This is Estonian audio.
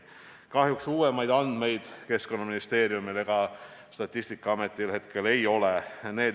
Kahjuks uuemaid andmeid Keskkonnaministeeriumil ega Statistikaametil hetkel ei ole.